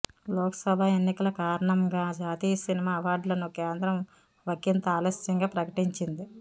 లోక్సభ ఎన్నికల కారణంగా జాతీయ సినిమా అవార్డులను కేంద్రం ఒకింత ఆలస్యంగా ప్రకటించింది